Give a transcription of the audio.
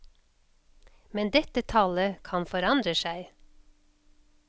Men dette tallet kan forandre seg.